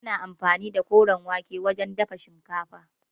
Ana anfani da koren wake wajen dafa shinkafa.